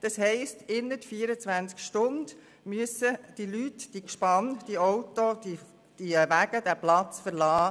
Das heisst, innert 24 Stunden müssen die Leute, die Gespanne, die Autos die Wege, den Platz verlassen;